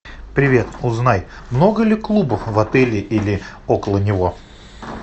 привет узнай много ли клубов в отеле или около него